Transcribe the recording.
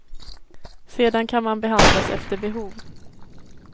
Sedan kan man behandlas efter behov.